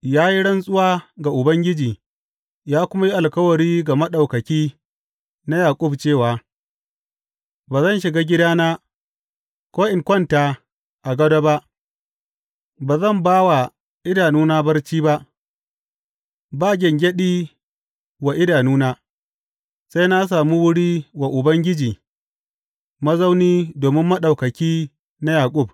Ya yi rantsuwa ga Ubangiji ya kuma yi alkawari ga Maɗaukaki na Yaƙub cewa, Ba zan shiga gidana ko in kwanta a gado ba, ba zan ba wa idanuna barci ba, ba gyangyaɗi wa idanuna, sai na sami wuri wa Ubangiji, mazauni domin Maɗaukaki na Yaƙub.